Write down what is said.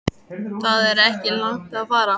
Það er ekki langt að fara.